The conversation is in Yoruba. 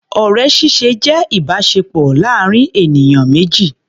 Ọ̀rẹ́ ṣíṣe jẹ́ ìbáṣepọ̀ láàrin ènìyàn méjì.